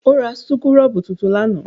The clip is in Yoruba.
O rà súkúrọ́bù tuntun lánàá?